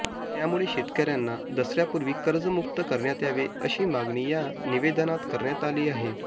त्यामुळे शेतकऱ्यांना दसऱ्यापूर्वी कर्जमुक्त करण्यात यावे अशी मागणी या निवेदनात करण्यात आली आहे